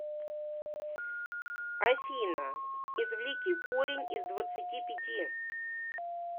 афина извлеки корень из двадцати пяти